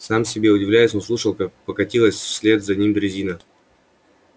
сам себе удивляясь он слушал как покатилась вслед за ним дрезина